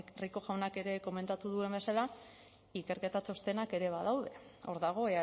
rico jaunak ere komentatu duen bezala ikerketa txostenak ere badaude hor dago